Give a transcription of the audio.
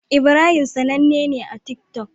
Ibrahim sAnanne ne a tik tok